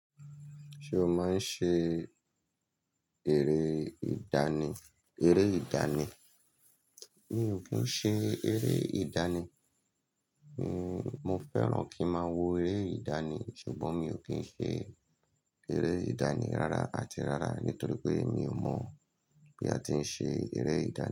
Ṣé o máa ń ṣe eré ìdánì eré ìdánì? Mi ò kí ń ṣe eré ìdánì. Mi mo fẹ́ràn kí n máa wo eré ìdánì, ṣùgbọ́n mi ò kí ń ṣe eré ìdánì rárá àti rárá nítorí pé mi ò mọ̀ bí a ti ń ṣe eré ìdánì.